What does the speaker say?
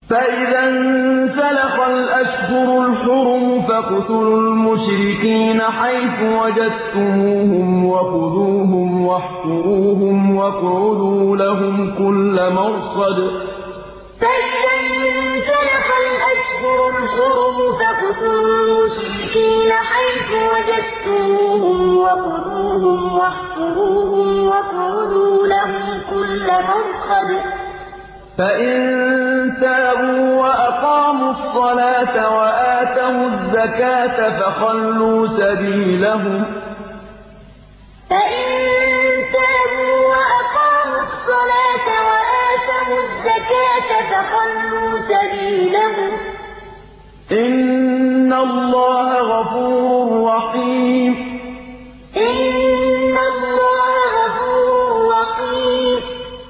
فَإِذَا انسَلَخَ الْأَشْهُرُ الْحُرُمُ فَاقْتُلُوا الْمُشْرِكِينَ حَيْثُ وَجَدتُّمُوهُمْ وَخُذُوهُمْ وَاحْصُرُوهُمْ وَاقْعُدُوا لَهُمْ كُلَّ مَرْصَدٍ ۚ فَإِن تَابُوا وَأَقَامُوا الصَّلَاةَ وَآتَوُا الزَّكَاةَ فَخَلُّوا سَبِيلَهُمْ ۚ إِنَّ اللَّهَ غَفُورٌ رَّحِيمٌ فَإِذَا انسَلَخَ الْأَشْهُرُ الْحُرُمُ فَاقْتُلُوا الْمُشْرِكِينَ حَيْثُ وَجَدتُّمُوهُمْ وَخُذُوهُمْ وَاحْصُرُوهُمْ وَاقْعُدُوا لَهُمْ كُلَّ مَرْصَدٍ ۚ فَإِن تَابُوا وَأَقَامُوا الصَّلَاةَ وَآتَوُا الزَّكَاةَ فَخَلُّوا سَبِيلَهُمْ ۚ إِنَّ اللَّهَ غَفُورٌ رَّحِيمٌ